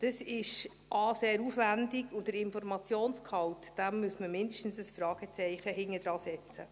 Das ist – a – sehr aufwendig, und hinter den Informationsgehalt muss man mindestens ein Fragezeichen setzen.